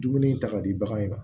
Dumuni in ta ka di bagan in ma